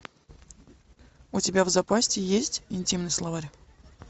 у тебя в запасе есть интимный словарь